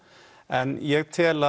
en ég tel